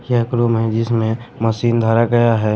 यह एक रूम है जिसमें मशीन धरा गया है।